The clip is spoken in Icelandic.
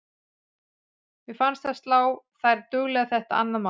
Mér fannst það slá þær duglega þetta annað mark.